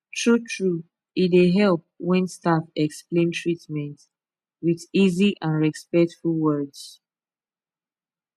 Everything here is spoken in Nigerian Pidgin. truetrue e dey help when staff explain treatment with easy and respectful words